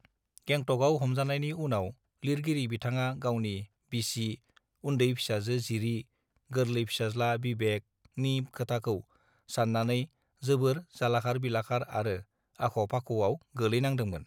गेंटकआव हमजानायनि उनाव लिरगिरि बिथांआ गावनि बिसि उन्दै फिसाजो जिरि गोरलै फिसाज्ला बिबेकनि खोथाखौ साननानै जोबोर जालाखार बिलाखार आरो आख फाख आव गोलैनांदोंमोन